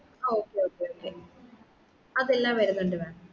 ആ okay okay okay അതെല്ലാം വരുന്നുണ്ട് mam